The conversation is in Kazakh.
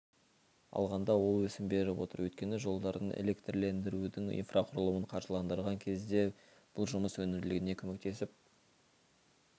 алғанда ол өсім беріп отыр өйткені жолдардың электрлендірудің инфрақұрылымын қаржыландырған кезде бұл жұмыс өнімділігіне көмектесіп